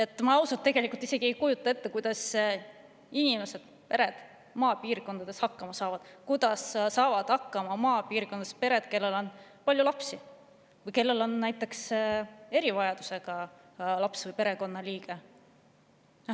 Ma ausalt ei kujuta ette, kuidas inimesed ja pered maapiirkondades hakkama saavad, kuidas saavad maapiirkondades hakkama pered, kellel on palju lapsi, kellel on näiteks erivajadusega laps või perekonnaliige.